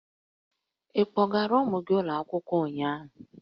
Ị kpọgaara ụmụ gị ụlọ akwụkwọ ụnyahụ?